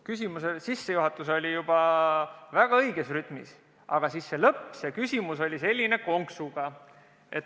Küsimuse sissejuhatus oli väga õiges võtmes, aga see lõpp oli selline konksuga.